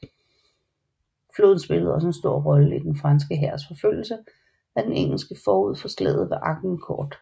Floden spillede også en stor rolle i den franske hærs forfølgelse af den engelske forud for slaget ved Agincourt